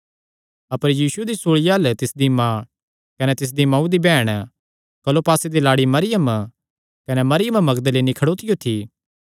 अपर यीशु दी सूल़िया अल्ल तिसदी माँ कने तिसदिया मांऊ दी बैहण क्लोपासे दी लाड़ी मरियम कने मरियम मगदलीनी खड़ोतियो थी